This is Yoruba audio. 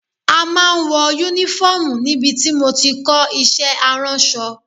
A máa ń wọ Únífọ́ọ̀mù níbi tí mo ti kọ́ iṣẹ́ aránṣọ